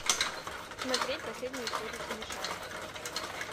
смотреть последнюю серию смешариков